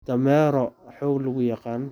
Dameero xoog lagu yaqaan.